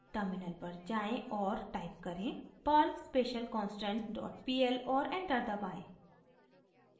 terminal पर जाएँ और टाइप करें: perl specialconstantpl और एंटर दबाएं